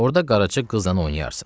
Orda qaraca qızla oynayarsan.